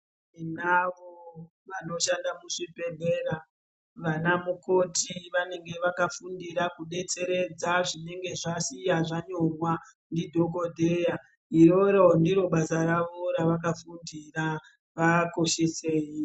Tinavo vanoshande muzvibhedhlera vana mukoti vanenge vakafundira kupedzeredza zvinenge zvasiya zvanyorwa ndidhokodheya, iroro ndiro basa ravo ravakafundira vakoshisei.